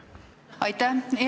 Aitäh!